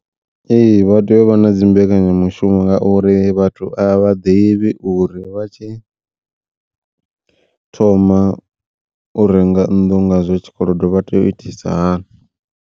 Ee vha tea u vha na dzimbekanya mushumo ngauri vhathu a vha ḓivhi uri, vha tshi thoma u renga nnḓu ngazwa tshikolodo vha tea u itisa hani.